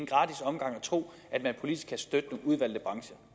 gratis omgang at tro at man politisk kan støtte nogle udvalgte brancher